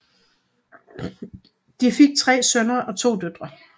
De fik tre sønner og to døtre